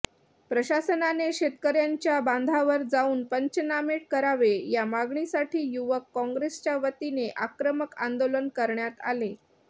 प्रशासनाने शेतकऱ्यांच्या बांधावर जाऊन पंचनामे करावे या मागणीसाठी युवक कॉंग्रेसच्या वतीने आक्रमक आंदोलन करण्यात आले